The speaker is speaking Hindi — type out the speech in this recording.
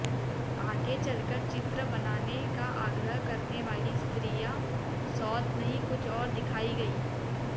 आगे चलकर चित्र बनाने का आग्रह करने वाली स्त्रियां सौत नहीं कुछ और दिखायी गयीं